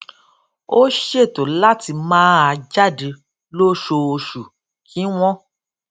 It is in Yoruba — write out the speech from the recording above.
ó ṣètò láti máa jáde lóṣooṣù kí wón